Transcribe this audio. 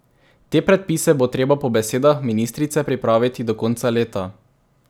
Te predpise bo treba po besedah ministrice pripraviti do konca leta.